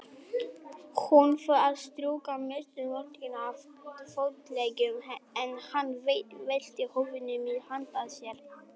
Hún fór að strjúka mestu moldina af fótleggjunum, en hann velti húfunni milli handa sér.